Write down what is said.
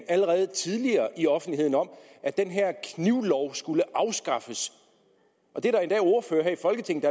allerede tidligere i offentligheden om at den her knivlov skulle afskaffes og der er endda ordførere her i folketinget